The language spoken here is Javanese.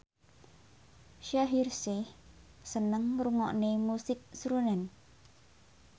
Shaheer Sheikh seneng ngrungokne musik srunen